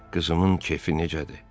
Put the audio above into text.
Qızımın kefi necədir?